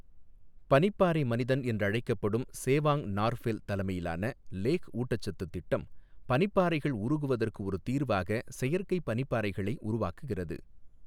பனிப்பாறை மனிதன் என்றும் அழைக்கப்படும் சேவாங் நார்ஃபெல் தலைமையிலான லேஹ் ஊட்டச்சத்து திட்டம், பனிப்பாறைகள் உருகுவதற்கு ஒரு தீர்வாக செயற்கை பனிப்பாறைகளை உருவாக்குகிறது.